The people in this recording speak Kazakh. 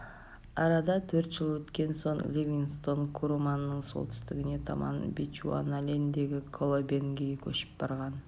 арада төрт жыл өткен соң ливингстон куруманның солтүстігіне таман бечуаналендегі колобенгіге көшіп барған